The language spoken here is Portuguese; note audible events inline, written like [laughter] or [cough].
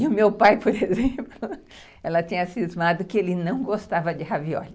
E o meu pai, [laughs] por exemplo, ela tinha cismado que ele não gostava de ravióli.